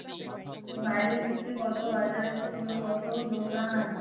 বাইরের দিকে কত বাজার ছিল কত দোকান